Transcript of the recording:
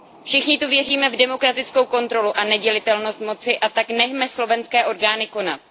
Všichni tady věříme v demokratickou kontrolu a nedělitelnost moci, a tak nechme slovenské orgány konat.